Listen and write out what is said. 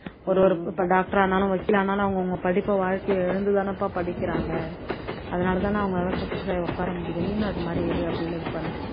ஒரு ஒரு இப்போ doctor ஆனாலும் வக்கீல் ஆனாலும் அவங்கவங்க படிப்பை வாழ்க்கைய இழந்து தானப்பா படிக்கிறாங்க அதனால தான அவங்களால success ஆகி உக்கார முடியுது நீயும் அது மாதிரி இரு அப்படின்னு இது பண்ணணும்.